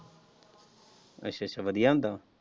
ਅੱਛਾ ਅੱਛਾ ਵਧੀਆ ਹੁੰਦਾ ਹੈ।